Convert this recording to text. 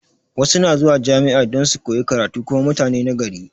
Wasu na zuwa jami'a don su koyi karatu kuma mutani na gari